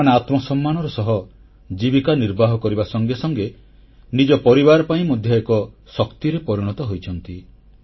ସେମାନେ ଆତ୍ମସମ୍ମାନର ସହ ଜୀବିକା ନିର୍ବାହ କରିବା ସଙ୍ଗେ ସଙ୍ଗେ ନିଜ ପରିବାର ପାଇଁ ମଧ୍ୟ ଏକ ଶକ୍ତିରେ ପରିଣତ ହୋଇଛନ୍ତି